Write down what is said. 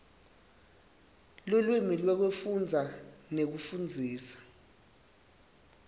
lulwimi lwekufundza nekufundzisa